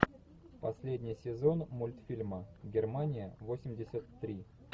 последний сезон мультфильма германия восемьдесят три